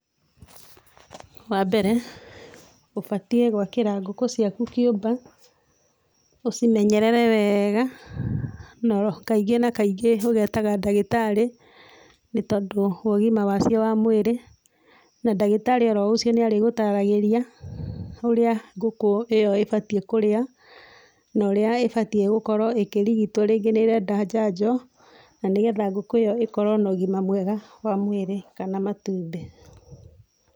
Wambere ũbatĩe gwakĩra ngũkũ ciaku kĩũmba ũcĩmenyerere wega, kaingĩ na kaingĩ ũgetaga ndagĩtarĩ nĩ tondũ wa ũgima wacio wa mwĩrĩ, na ndagĩtarĩ o ro ũcio nĩ arĩgũtaragĩria ũrĩa ngũkũ ĩyo ĩbatie kũria, na ũrĩa ibatie gũkorwo ĩkĩrigĩtwo rĩngĩ nĩ ĩrenda njanjo na nĩgetha gũkũ ĩyo ĩkorwo na ũgima mwega wa mwĩrĩ kana matumbĩ.